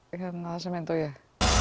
þessa mynd og ég